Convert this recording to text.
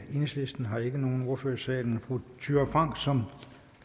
enhedslisten har ikke nogen ordfører i salen fru thyra frank som